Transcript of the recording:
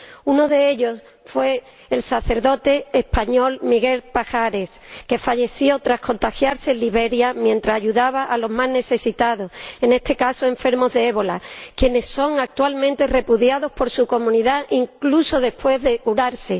Uno de ellos fue el sacerdote español Miguel Pajares, que falleció tras contagiarse en Liberia mientras ayudaba a los más necesitados, en este caso enfermos de ébola, quienes son actualmente repudiados por su comunidad incluso después de curarse.